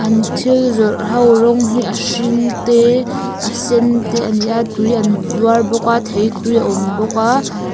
an thil zawrh ho rawng hi a hring te a sen te a ni a tui an zuar bawk a thei tui a awm bawk a.